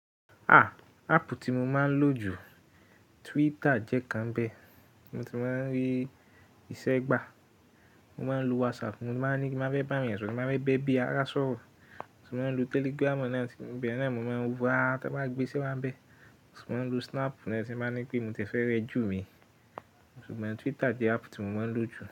Ah! App ti mọ̀ máa'n lójú, twitter jẹ ìkan nibẹ, ní mọ̀ tí máa'n rí ìṣe gba. Mo máa ń lo WhatsApp, mo máa ní kí wọ́n má bẹ́ bá yàn sọ̀rọ̀, kí wọ́n má bẹ́ bí ará sọ̀rọ̀. Mo máa ń lo Telegram náà tí bí náà ni mo máa ń wọ́n áá tí wọ́n bá gbé ṣẹ́ wá bẹ́. Mo sì máa ń lo Snap náà tí máa ń ní pé mo ti ẹ̀ fẹ́ rẹ jú mi. Ṣùgbọ́n Twitter jẹ́ áàpù tí mo máa ń lò jù.